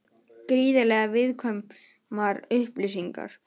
Gríðarlega viðkvæmar upplýsingar